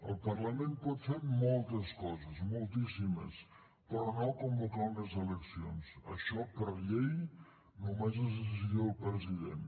el parlament pot fer moltes coses moltíssimes però no convocar unes eleccions això per llei només és decisió del president